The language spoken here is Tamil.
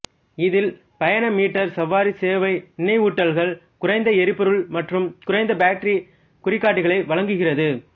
இதில் பயண மீட்டர் சவாரி சேவை நினைவூட்டல்கள் குறைந்த எரிபொருள் மற்றும் குறைந்த பேட்டரி குறிகாட்டிகளை வழங்குகிறது